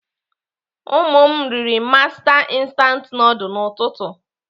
Ụmụ m riri master instant nudul n'ụtụtụ.